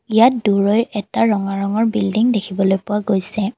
ইয়াত দূৰৈৰ এটা ৰঙা ৰঙৰ বিল্ডিং দেখিবলে পোৱা গৈছে।